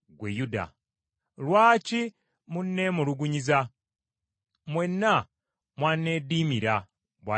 “Lwaki munneemulugunyiza? Mwenna mwanneeddiimira,” bw’ayogera Mukama .